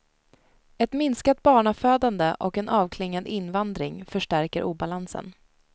Ett minskat barnafödande och en avklingad invandring förstärker obalansen.